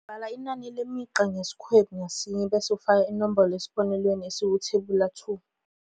3.2 Bala inani lemigqa ngesikhwebu ngasinye bese ufaka inombolo esibonelweni esikuThebula 2.